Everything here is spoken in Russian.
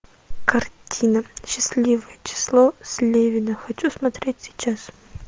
картина счастливое число слевина хочу смотреть сейчас